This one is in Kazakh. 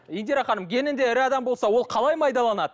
индира ханым генінде ірі адам болса ол қалай майдаланады